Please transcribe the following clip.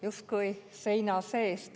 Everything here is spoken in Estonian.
Justkui seina seest.